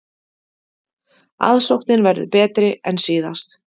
Aðsóknin verður betri en síðast